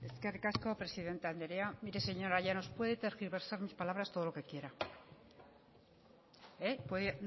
eskerrik asko presidente andrea mire señora llanos puede tergiversar mis palabras todo lo que quiera puede